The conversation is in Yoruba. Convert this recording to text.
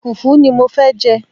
Fùfú ni mo fẹ́ jẹ́.